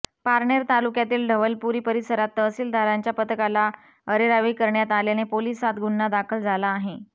पारनेर तालुक्यातील ढवळपुरी परिसरात तहसीलदारांच्या पथकाला अरेरावी करण्यात आल्याने पोलिसांत गुन्हा दाखल झाला आहे